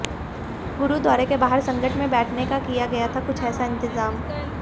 गुरुद्वारे के बाहर संगत के बैठने का किया गया था कुछ ऐसा इंतजाम